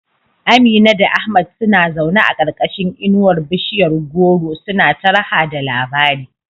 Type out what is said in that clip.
Amina da Ahmad suna zaune a karkashin inuwar bishiyar goro suna ta raha da labari.